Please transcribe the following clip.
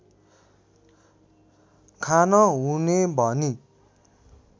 खान हुने भनी